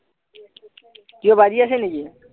কিবা বাজি আছে নেকি